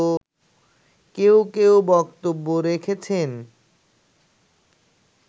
কেউ কেউ বক্তব্য রেখেছেন